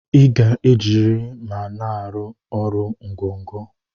Iga eji eriri ma na arụ ọrụ ngọgọ!!